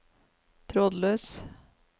trådløs